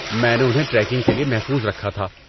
میں نے انہیں ٹریکنگ کے لیے محفوظ رکھا تھا۔